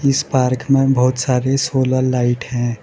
इस पार्क में बहुत सारे सोलर लाइट हैं।